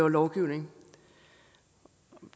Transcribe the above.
loven men